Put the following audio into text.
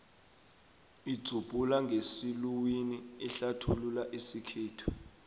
idzubhula ngesiluwini ihlathulula isikhethu